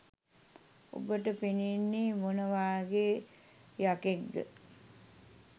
ඔබට පෙනෙන්නේ මොන වගේ යකෙක්ද